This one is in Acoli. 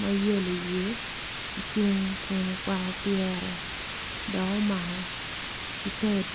mayellow i wiye ocung kun okwako pyere dok omako siped.